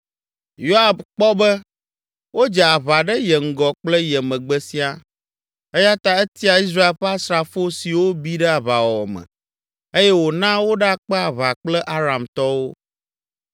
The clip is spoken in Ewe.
Yoab kpɔ be wodze aʋa ɖe ye ŋgɔ kple ye megbe siaa, eya ta etia Israel ƒe asrafo siwo bi ɖe aʋawɔwɔ me, eye wòna woɖakpe aʋa kple Aramtɔwo.